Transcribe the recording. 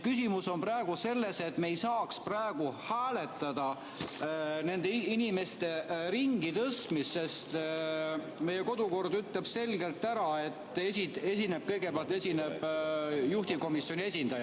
Küsimus on selles, et me ei saagi praegu hääletada nende inimeste ringitõstmist, sest meie kodukord ütleb selgelt, et kõigepealt esineb juhtivkomisjoni esindaja.